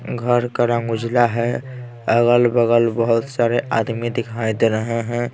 घर का रंग उजला है अगल-बगल बहुत सारे आदमी दिखाई दे रहे हैं ।